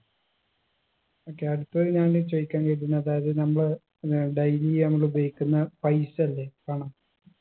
okay അടുത്തത് ഞാൻ ചോയിക്കാൻ വിചാരിക്കുന്നെ അതായത് നമ്മള് ഏർ daily നമ്മള് ഉപയോഗിക്കുന്ന പൈസ ഇല്ലേ പണം